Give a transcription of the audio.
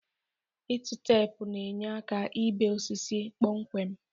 Ịtụ teepu na-enye aka ibe osisi kpọmkwem.